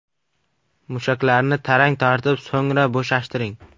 Mushaklarni tarang tortib, so‘ngra bo‘shashtiring.